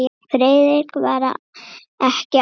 Friðrik var ekki allra.